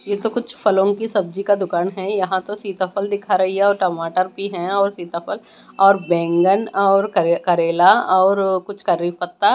यह तो कुछ फलों की सब्जी का दुकान है यहां तो सीताफल दिखा रही है और टमाटर भी है और सीताफल और बैंगन और कर करेला और कुछ करीपत्ता--